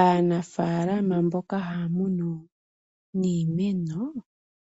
Aanafalama mboka haya munu iimeno